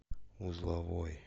узловой